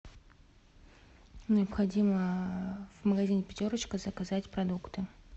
необходимо в магазине пятерочка заказать продукты